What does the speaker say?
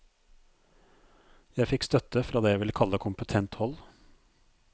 Jeg fikk støtte fra det jeg vil kalle kompetent hold.